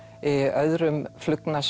öðrum